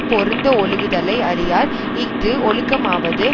பொருந்த ஒழுகுதலை அறியார் இஃது ஒழுக்கமாவது